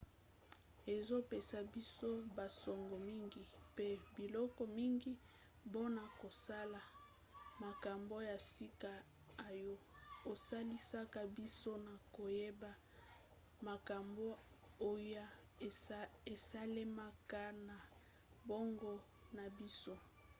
ezopesa biso basango mingi pe biloko mingi mpona kosala makambo ya sika oyo esalisaka biso na koyeba makambo oyo esalemaka na boongo na biso